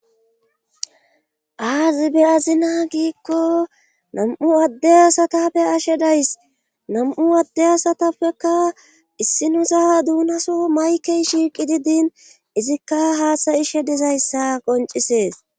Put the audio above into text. Aazi be azina giikko nam'u addey asatape ashe days nam'u adde asatappekka issi nusa duunaso maykey shiiqi didin izikka haasayishe dizayssa qoncisees.